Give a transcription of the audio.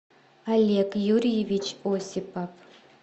олег юрьевич осипов